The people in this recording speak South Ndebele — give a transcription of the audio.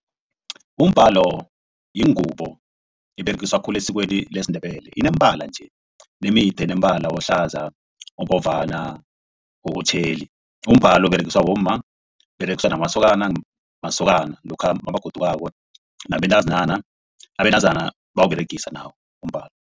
Umbalo yingubo eberegiswa khulu esikweni lesiNdebele ineembala nje nombala ohlaza obovana, otjheli. Umbalo uberegiswa bomma uberegiswa namasokana lokha nakagodukako nabentazinyana abentazana bayawuberegisa nawo umbalo.